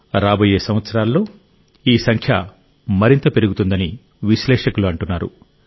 రాబోయే సంవత్సరాల్లో ఈ సంఖ్య మరింత పెరుగుతుందని విశ్లేషకులు అంటున్నారు